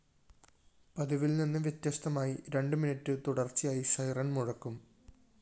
പതിവില്‍ നിന്ന് വ്യത്യസ്തമായി രണ്ട് മിനിറ്റ് തുടര്‍ച്ചയായി സിറെൻ മുഴക്കും